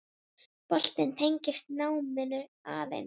Boltinn tengist náminu aðeins.